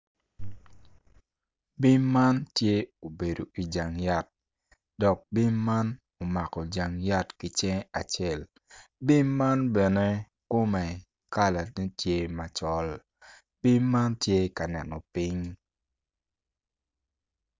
Bim man tye obedo i wi yat dok bim man omako janga kicinge acel bim man bene kome tye cinge macol bim man tye ka neno ping.